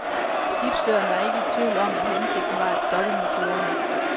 Skibsføreren var ikke i tvivl om, at hensigten var at stoppe motorerne.